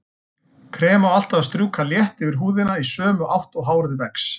Krem á alltaf að strjúka létt yfir húðina í sömu átt og hárið vex.